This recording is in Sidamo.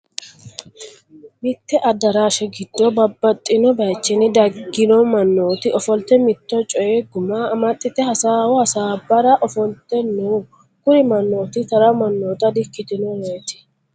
mitte adaraashe giddo babaxinno bayiichinni daginno manooti ofolitte mitto coyi gumma amaxitte hasaawo hasaabara ofolitte no kuri manooti tarra manoota di'ikitinoreeti